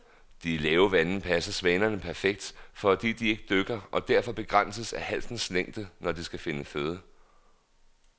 De lave vande passer svanerne perfekt, fordi de ikke dykker og derfor begrænses af halsens længde, når de skal finde føde.